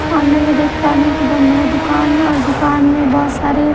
सामने मैं देख पा रही हूं कि बहुत बड़ा दुकान है और दुकान में बहुत सारे--